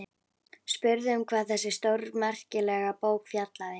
Spurði um hvað þessi stórmerkilega bók fjallaði.